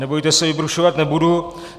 Nebojte se, vybrušovat nebudu.